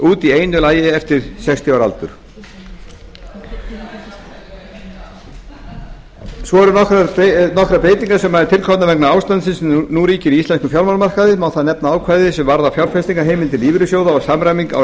út í einu lagi eftir sextíu ára aldur nokkrar breytingar eru til komnar vegna ástandsins sem nú ríkir á íslenskum fjármálamarkaði má þar nefna ákvæði sem varða fjárfestingarheimildir lífeyrissjóða og samræmingu á